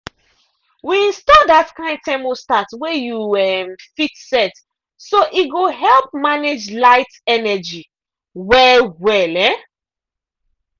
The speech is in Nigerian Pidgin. we install that kind thermostat wey you um fit set so e go help manage light (energy) well-well. um